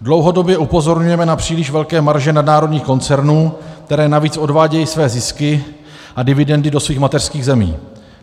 Dlouhodobě upozorňujeme na příliš velké marže nadnárodních koncernů, které navíc odvádějí své zisky a dividendy do svých mateřských zemí.